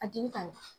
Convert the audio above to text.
A jeli ka ɲi